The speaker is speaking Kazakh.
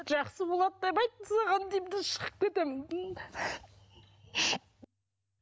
жақсы болады деп айтты саған деймін де шығып кетемін